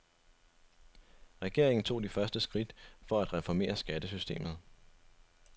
Regeringen tog de første skridt for at reformere skattesystemet.